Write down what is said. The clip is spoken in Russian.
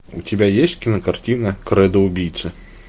у тебя есть кинокартина кредо убийцы